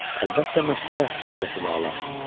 Əlbəttə, Məkkəyə, Həzrəti Vəla.